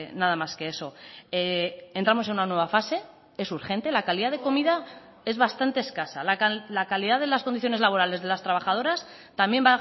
nada más que eso entramos en una nueva fase es urgente la calidad de comida es bastante escasa la calidad de las condiciones laborales de las trabajadoras también